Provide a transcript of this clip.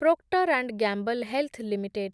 proctor and Gamble health limited